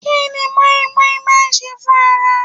Kí ni moin moin máa ń ṣe fún ara?